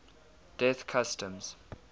death customs